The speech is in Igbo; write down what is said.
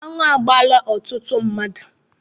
Anụ agbaala ọtụtụ mmadụ.